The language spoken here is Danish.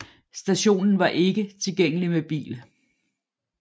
Stationen var ikke tilgængelig med bil